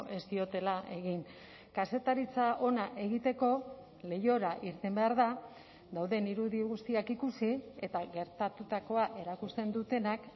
ez diotela egin kazetaritza ona egiteko leihora irten behar da dauden irudi guztiak ikusi eta gertatutakoa erakusten dutenak